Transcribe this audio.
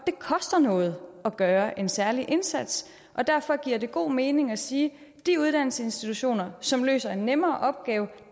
det koster noget at gøre en særlig indsats og derfor giver det god mening at sige at de uddannelsesinstitutioner som løser en nemmere opgave